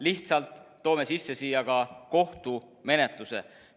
Lihtsalt toome siia sisse ka kohtumenetluse.